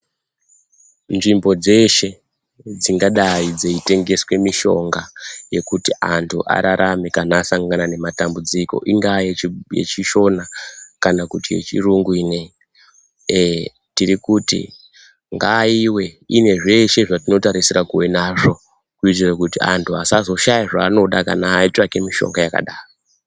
Nzvimbo dzeshe dzingadai dzichitengese mishonga yekuti antu ararame kana asangana nematambudziko ingave yechishona kana kuti yechirungu iye ino iyi, tirikuti ngaive inezveshe zvatinotarishira kuve nazvo kuitira kuti antu asazoshaya zvaanoda kana atsvake mishonga yakadaro.